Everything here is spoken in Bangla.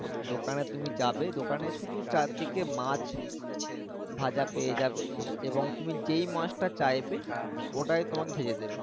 দোকানে তুমি যাবে দোকানে শুধু চারদিকে মাছ ভাঁজা পেয়ে যাবে এবং যেই মাছটা চাইবে ওটাই তোমাকে ভেঁজে দিবে